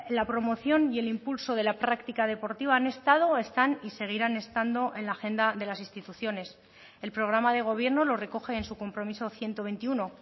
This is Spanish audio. la promoción y el impulso de la práctica deportiva han estado están y seguirán estando en la agenda de las instituciones el programa de gobierno lo recoge en su compromiso ciento veintiuno